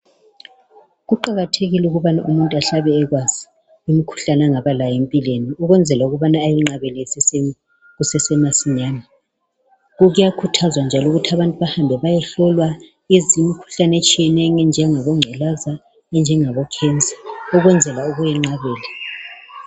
Kuqakathekile ukuba umuntu ahlale ekwazi umkhuhlane angaba lawo empilweni ukwenzela ukubana ayinqabele kusesemasinyane. Kuyakhuthazwa njalo ukuthi abantu bahambe bayehlolwa imikhuhlane etshiyeneyo enjengabo ngculaza, enjengabo"cancer" ukwenzela ukuyenqabela.